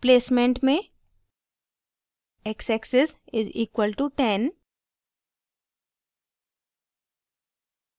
placement में x axis = 10